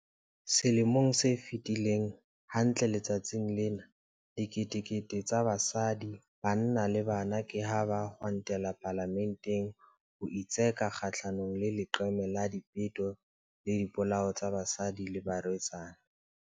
Selemo se fetileng, hantle letsatsing lena, diketekete tsa basadi, banna le bana ke ha ba kgwantela Palamenteng ho itseka kgahlanongle leqeme la dipeto le dipolao tsa basadi le barwetsana.